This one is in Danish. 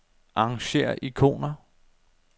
Arrangér ikoner.